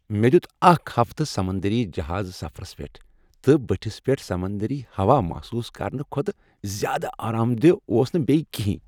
مےٚ دِیُت اکھ ہفتہٕ سمندری جہٲزی سفرس پیٹھ، تہٕ بتھس پیٹھ سمندری ہوا محسوس کرنہٕ کھوتہٕ زیادٕ آرام دہ اوس نہٕ بیٚیہ کِہنۍ۔